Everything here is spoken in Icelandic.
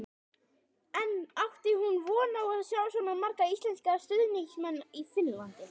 En átti hún von á að sjá svona marga íslenska stuðningsmenn í Finnlandi?